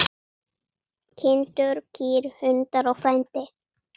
Kindur, kýr, hundar og frændi.